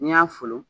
N'i y'a folo